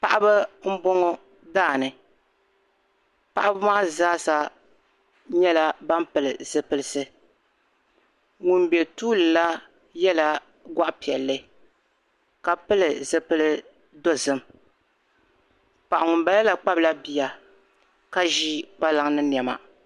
Paɣiba n bɔŋɔ, daani, paɣibi maa zaasa nyɛla ban pili zipilisi, ŋun be tuuli la yɛla goɣi piɛli ka pili zipil dɔzim paɣi ŋun bala la. kpabla biya ka zi kpalaŋ ni nema.